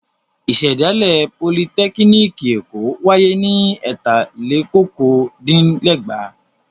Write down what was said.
Ìṣẹ̀dálẹ̀ Politẹ́kíníkì Èkó wáyé ní ẹ̀tàlélokòó-dín-ẹgbàá.